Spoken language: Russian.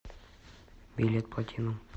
билет платинум